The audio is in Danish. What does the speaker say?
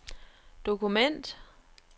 dokument